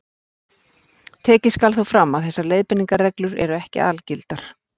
Tekið skal þó fram að þessar leiðbeiningarreglur eru ekki algildar.